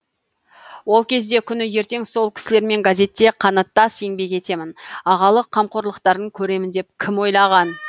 ол кезде күні ертең сол кісілермен газетте қанаттас еңбек етемін ағалық қамқорлықтарын көремін деп кім ойлаған